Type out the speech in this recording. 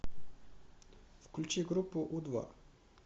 включи группу у два